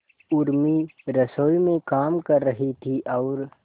उर्मी रसोई में काम कर रही थी और